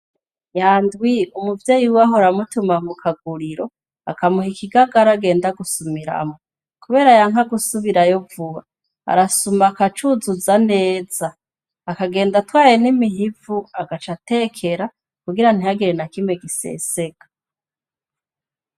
Nyandwi, umuvyeyi wiwe ahora amutuma mu kaguriro, akamuha ikigagara agenda gusumiramwo. Kubera yanka gusubirayo vuba, arasuma akacuzuza neza, akagenda atwaye n'imihivu agaca atekera kugira ntihagire nakimwe giseseka.